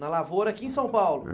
Na lavoura aqui em São Paulo.